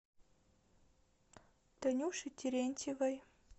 танюше терентьевой